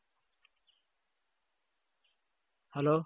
hello.